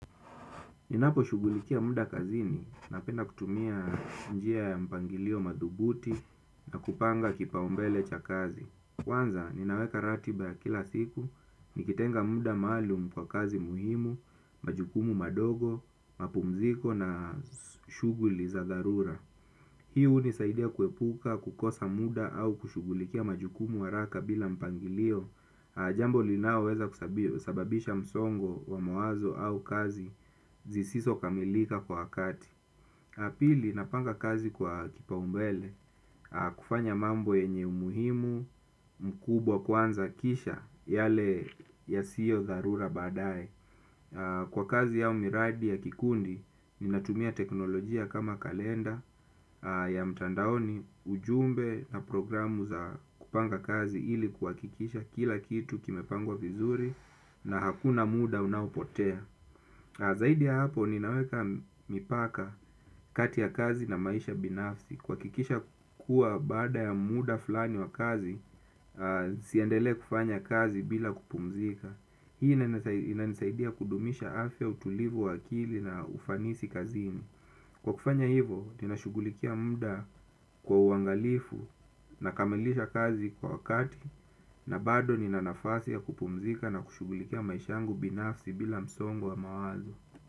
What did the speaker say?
Ninaposhugulikia muda kazini napenda kutumia njia ya mpangilio madhubuti na kupanga kipaumbele cha kazi. Kwanza, ninaweka ratiba ya kila siku, nikitenga muda maalum kwa kazi muhimu, majukumu madogo, mapumziko na shughuli za dharura. Hii hunisaidia kuepuka, kukosa muda au kushughulikia majukumu haraka bila mpangilio. Jambo linaoweza kusababisha msongo wa mawazo au kazi zisizo kamilika kwa wakati. Na pili napanga kazi kwa kipaumbele kufanya mambo yenye umuhimu mkubwa kwanza kisha yale yasiyo dharura baadaye. Kwa kazi au miradi ya kikundi ninatumia teknolojia kama kalenda ya mtandaoni ujumbe na programu za kupanga kazi ili kuhakikisha kila kitu kimepangwa vizuri na hakuna muda unaopotea. Zaidi ya hapo ninaweka mipaka kati ya kazi na maisha binafsi kuhakikisha kuwa baada ya muda fulani wa kazi siendelee kufanya kazi bila kupumzika. Hii inanisaidia kudumisha afya utulivu wa akili na ufanisi kazini kwa kufanya hivo, ninashughulikia muda kwa uangalifu. Nakamilisha kazi kwa wakati na bado nina nafasi ya kupumzika na kushughulikia maisha yangu binafsi bila msongo wa mawazo.